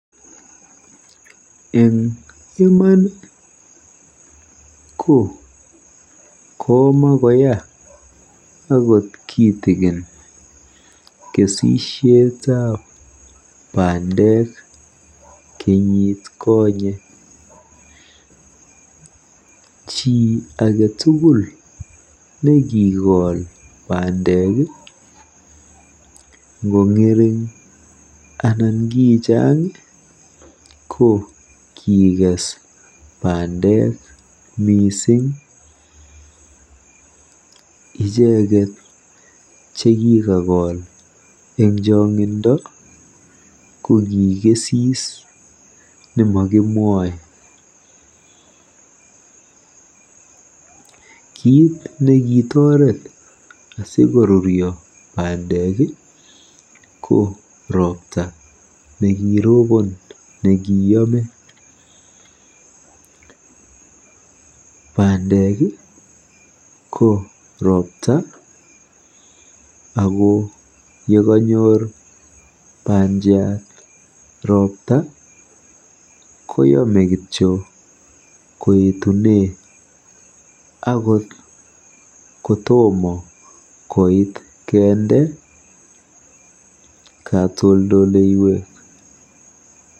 Eng iman ko komakoya akot kitikin kesisietab pandek kenyitkonyei. Chi age tugul nekikol pandek ngong'ering anan ko chaang ko kikes pandek miising. Icheket chekikakol eng chong'indo ko kikesis nemokimwoei. Kiit nekitoret asikorurio pandek ko ropta nekiropon nekiyame.